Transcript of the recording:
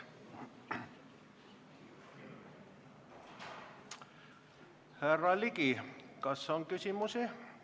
Härra Ligi, kas on küsimusi?